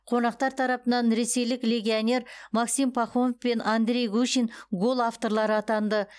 қонақтар тарапынан ресейлік легионер максим пахомов пен андрей гущин гол авторлары атанды